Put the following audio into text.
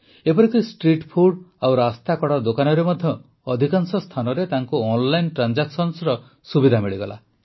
ଏପରିକି street food ଓ ରାସ୍ତାକଡ଼ ଦୋକାନରେ ମଧ୍ୟ ଅଧିକାଂଶ ସ୍ଥାନରେ ତାଙ୍କୁ ଅନଲାଇନ ଟ୍ରାନଜାକ୍ସନର ସୁବିଧା ମିଳିଲା